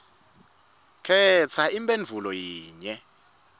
khetsa imphendvulo yinye